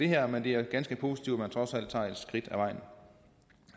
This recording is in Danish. her men det er ganske positivt at man trods alt tager et skridt ad vejen